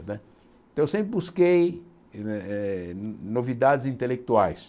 Né então eu sempre busquei ne eh novidades intelectuais.